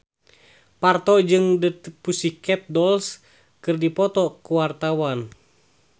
Parto jeung The Pussycat Dolls keur dipoto ku wartawan